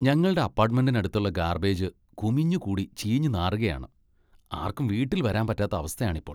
ഞങ്ങളുടെ അപ്പാർട്ട്മെന്റിന് അടുത്തുള്ള ഗാർബേജ് കുമിഞ്ഞ് കൂടി ചീഞ്ഞ് നാറുകയാണ്. ആർക്കും വീട്ടിൽ വരാൻ പറ്റാത്ത അവസ്ഥയാണ് ഇപ്പോൾ.